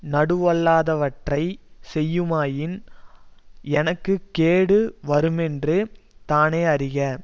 நடுவல்லாதவற்றைச் செய்யுமாயின் எனக்கு கேடு வருமென்று தானே அறிக